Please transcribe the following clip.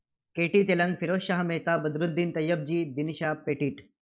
KT Telang, Pherozeshah Mehta, Badruddin Tyabji, Dinshaw Petit